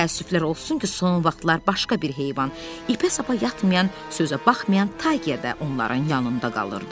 Amma təəssüflər olsun ki, son vaxtlar başqa bir heyvan ipə-sapa yatmayan, sözə baxmayan Tayqa da onların yanında qalırdı.